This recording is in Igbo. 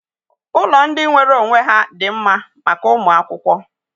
Ụlọ ndị nwere onwe ha dị mma maka ụmụ akwụkwọ.